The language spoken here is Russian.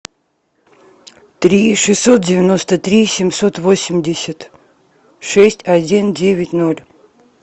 три шестьсот девяносто три семьсот восемьдесят шесть один девять ноль